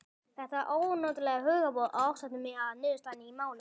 Það ónotalega hugboð ásótti mig að niðurstaðan í máli okkar